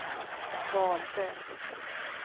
valde